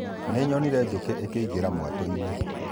Nĩnyonire njũkĩ ikĩingĩra mwatũ-inĩ